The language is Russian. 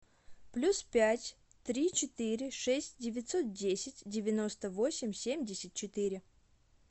плюс пять три четыре шесть девятьсот десять девяносто восемь семьдесят четыре